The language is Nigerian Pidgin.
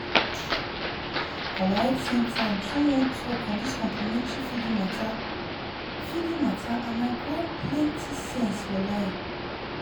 our health center do one talk on dis complementary feeding mata feeding mata and i grab plenty sense walahi.